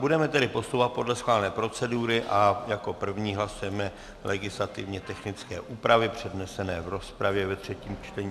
Budeme tedy postupovat podle schválené procedury a jako první hlasujeme legislativně technické úpravy přednesené v rozpravě ve třetím čtení.